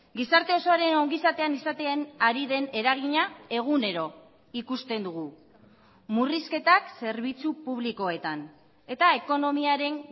gizarte osoaren ongizatean izaten ari den eragina egunero ikusten dugu murrizketak zerbitzu publikoetan eta ekonomiaren